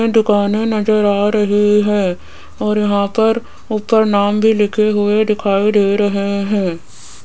ये दुकानें नजर आ रही है और यहां पर ऊपर नाम भी लिखे हुए दिखाई दे रहे हैं।